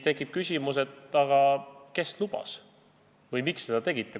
Tekib küsimus, et aga kes lubas või miks seda tegite.